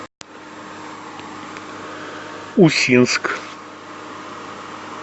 усинск